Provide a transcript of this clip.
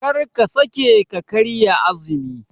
Karka sake ka karya azumi.